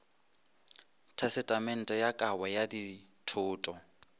tesetamente ya kabo ya dithoto